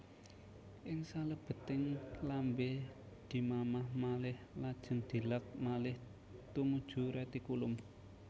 Ing salebeting lambé dimamah malih lajeng dileg malih tumuju retikulum